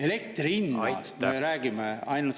Me räägime ainult elektri hinnast.